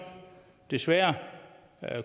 desværre